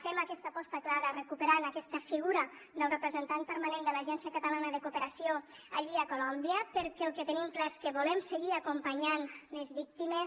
fem aquesta aposta clara recuperant aquesta figura del representant permanent de l’agència catalana de cooperació allí a colòmbia perquè el que tenim clar és que volem seguir acompanyant les víctimes